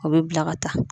O bɛ bila ka taa